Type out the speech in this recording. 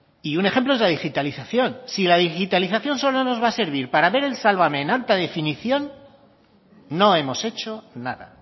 y un ejemplo es la digitalización si la digitalización solo nos va a servir para ver el sálvame en alta definición no hemos hecho nada